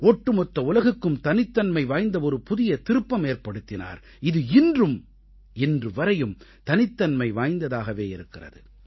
ஒட்டுமொத்த உலகுக்கும் தனித்தன்மை வாய்ந்த ஒரு புதிய திருப்பமேற்படுத்தினார் இது இன்று வரையும் தனித்தன்மை வாய்ந்ததாகவே இருக்கிறது